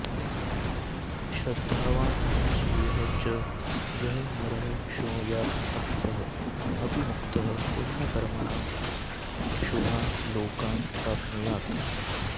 श्रद्धावान् अनसूयः च यः नरः शृणुयात् अपि सः अपि मुक्तः पुण्यकर्मणां शुभान् लोकान् प्राप्नुयात्